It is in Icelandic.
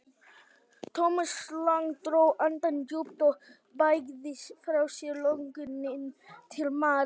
Thomas Lang dró andann djúpt og bægði frá sér lönguninni til Maríu.